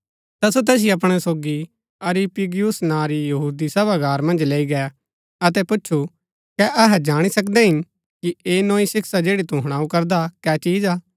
ता सो तैसिओ अपणै सोगी अरियुपगुस नां री यहूदी सभागार मन्ज लैई गै अतै पुछु कै अहै जाणी सकदै हिन कि ऐह नोई शिक्षा जैड़ी तू हुणाऊ करदा कै चिज हा